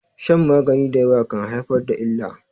shan magani da yawa kan haifar da illa